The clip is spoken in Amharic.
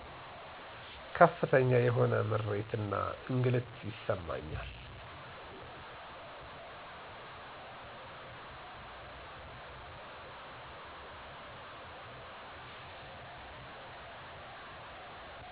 ከፍተኛ የሆነ ምሬት እና እንግልት ይሰማኛል።